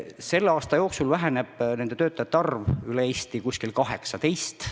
Selle aasta jooksul väheneb nende töötajate arv üle Eesti umbes 18 võrra.